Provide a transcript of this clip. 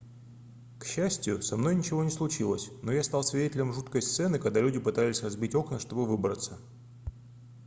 к счастью со мной ничего не случилось но я стал свидетелем жуткой сцены когда люди пытались разбить окна чтобы выбраться